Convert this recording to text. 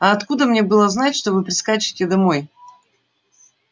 а откуда мне было знать что вы прискачете домой